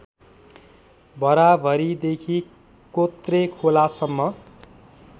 भराभरीदेखि कोत्रेखोलासम्म